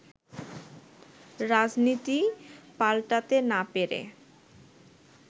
রাজনীতি পাল্টাতে না পেরে